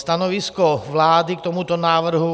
Stanovisko vlády k tomuto návrhu.